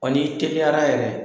ni teliyara yɛrɛ